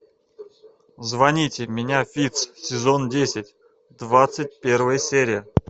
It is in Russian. звоните меня фитц сезон десять двадцать первая серия